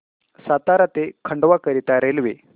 सातारा ते खंडवा करीता रेल्वे